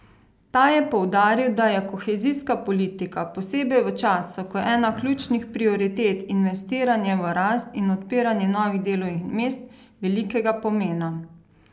Ta je poudaril, da je kohezijska politika, posebej v času, ko je ena ključnih prioritet investiranje v rast in odpiranje novih delovnih mest, velikega pomena.